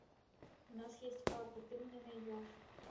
у нас есть папа ты мне найдешь